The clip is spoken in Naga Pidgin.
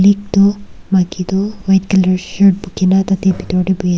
itu maiki toh white color shirt bukhi kena tate bitor te buhi ase.